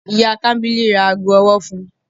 Iya Kambili ra aago ọwọ fún u